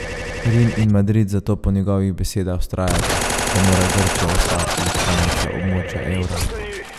Rim in Madrid zato po njegovih besedah vztrajata, da mora Grčija ostati članica območja evra.